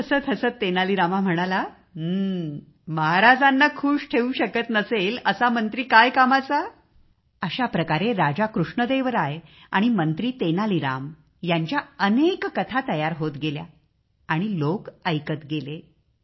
हसतहसत तेनाली रामा म्हणाला महाराजांना खुश ठेवू शकत नसेल असा मंत्री काय कामाचा अशाप्रकारे राजा कृष्णदेवराय आणि मंत्री तेनालीरामा यांच्या अनेक कथा तयार होत गेल्या आणि लोक ऐकत गेले